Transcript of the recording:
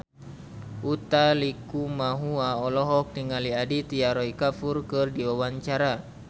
Utha Likumahua olohok ningali Aditya Roy Kapoor keur diwawancara